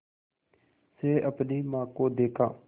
से अपनी माँ को देखा